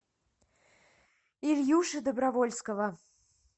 ильюши добровольского